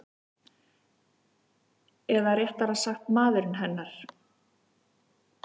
Eða réttara sagt maðurinn hennar.